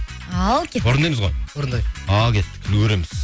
ал кеттік орындаймыз ғой ал кеттік үлгіреміз